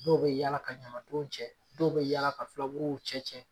Dɔw bɛ yaala ka ɲamantonw cɛ, dɔw bɛ yaala ka fulabuluw cɛ cɛ.